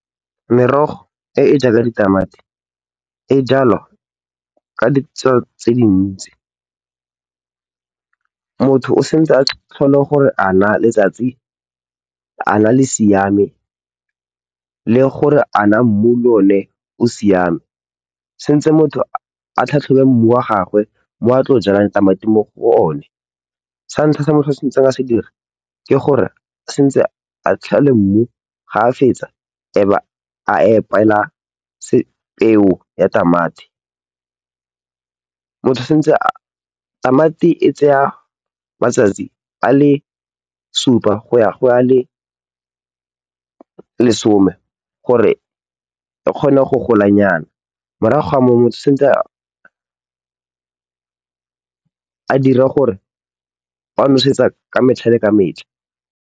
Merogo e e jaaka ditamati e jwalwa ka ditsela tse di ntsi. Motho o tshwanetse a tlhole gore a naa letsatsi le siame le gore a naa mmu le one o siame. Go tshwanetse motho a tlhatlhobe mmu wa gagwe mo a tlang go jwala tamati mo go one. Sa ntlha se motho a tshwanetseng a se dire, ke gore o tshwanetse a mmu, fa a fetsa ebe a epela peo ya tamati. Motho o tshwanetse a. Tamati e tsaya matsatsi a le supa go ya go a le lesome gore e kgone go golanyana, morago ga moo motho o tshwanetse a dire gore o nosetsa ka metlha le ka metlha.